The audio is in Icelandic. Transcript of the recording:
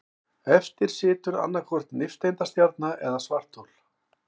Eftir situr annaðhvort nifteindastjarna eða svarthol.